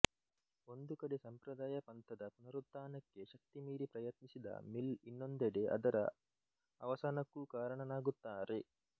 ಒಂದು ಕಡೆ ಸಂಪ್ರದಾಯ ಪಂಥದ ಪುನರುತ್ಥಾನಕ್ಕೆ ಶಕ್ತಿ ಮೀರಿ ಪ್ರಯತ್ನಿಸಿದ ಮಿಲ್ ಇನ್ನೊಂದಡೆ ಅದರ ಅವಸಾನಕ್ಕೂ ಕಾರಣನಾಗುತ್ತಾರೆ